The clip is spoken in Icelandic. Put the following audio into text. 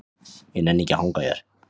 Ég nenni ekki að hanga hér.